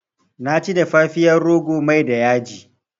Na ci dafafiyar rogo da mai da yaji